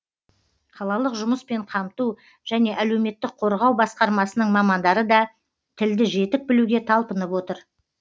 қалалық жұмыспен қамту және әлеуметтік қорғау басқармасының мамандары да тілді жетік білуге талпынып отыр